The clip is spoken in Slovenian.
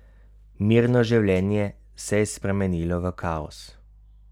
Mirno življenje se je spremenilo v kaos.